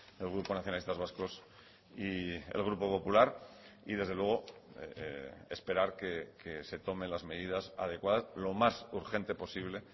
el grupo nacionalistas vascos y el grupo popular y desde luego esperar que se tomen las medidas adecuadas lo más urgente posible